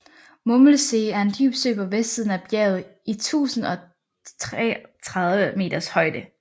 Mummelsee er en dyb sø på vestsiden af bjerget i 1036 meters højde